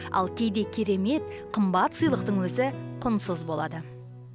ал кейде керемет қымбат сыйлықтың өзі құнсыз болады